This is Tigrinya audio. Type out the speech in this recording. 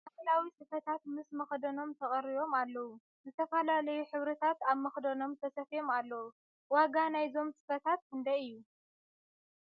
ባህላዊ ስፈታት ምስ መክደኖም ተቀሪቦም ኣለዉ ። ዝተፈላለዩ ሕብርታት ኣብ መክደኖም ተሰፍዮም ኣለዉ ። ዋጋ ናይዞም ስፈታት ክንደይ እዩ ?